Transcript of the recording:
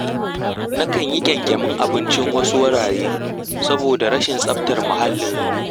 Na kan yi ƙyanƙyamin abincin wasu wuraren, saboda rashin tsabar muhallin.